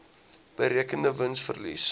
berekende wins verlies